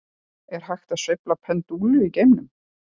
Er hægt að sveifla pendúl í geimnum?